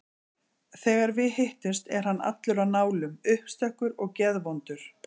Þegar við hittumst er hann allur á nálum, uppstökkur og geðvondur.